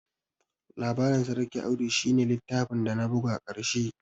Labarin sarki Audu shi ne littafin dana buga ƙarshe